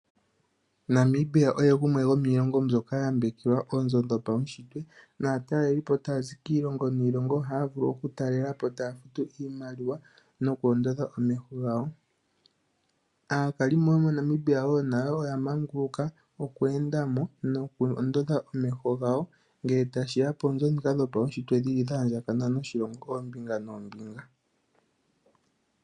Namibia oye gumwe gomiilongo mbyoka ya yambekwa noonzo dhopaunshitwe naatalelipo taya zi kiilongo niilongo ohaya vulu okutalela po taya futu iimaliwa noku ondodha omeho gawo. Aakalimo yomoNamibia nayo wo oya manguluka oku enda mo noku ondodha omeho gawo ngele tashi ya poonzo ndhika dhopaunshitwe dhi li dha andjagakana noshilongo koombinga noombinga.